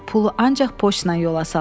Pulu ancaq poçtla yola sal.